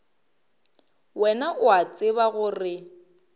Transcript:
wena o a tseba gore